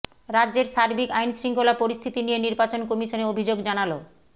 রাজ্যের সার্বিক আইনশৃঙ্খলা পরিস্থিতি নিয়ে নির্বাচন কমিশনে অভিযোগ জানাল